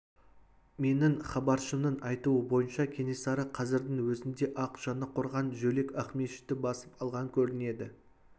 менің хабаршымның айтуы бойынша кенесары қазірдің өзінде-ақ жаңақорған жөлек ақмешітті басып алған көрінеді